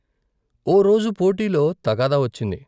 ఓ రోజు పోటీలో తగాదా వచ్చింది.